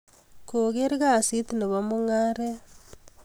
ko ker kasit nebo mugaret